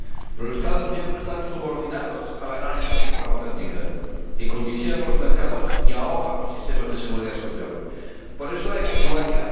Los Estados miembros están subordinados a la gran industria farmacéutica, que condiciona los mercados y ahoga a los sistemas de seguridad social. Por eso hay que actuar ya.